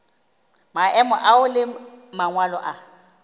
maemo ao le mangwalo a